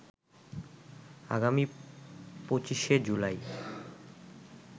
আগামী ২৫শে জুলাই